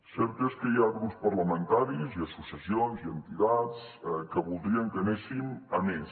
cert és que hi ha grups parlamentaris i associacions i entitats que voldrien que anéssim a més